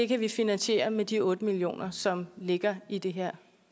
kan vi finansiere med de otte million kr som ligger i det her